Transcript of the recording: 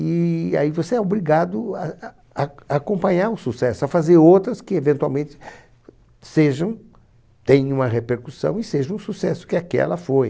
E aí você é obrigado a a a acompanhar o sucesso, a fazer outras que eventualmente sejam tenham uma repercussão e sejam um sucesso, que aquela foi.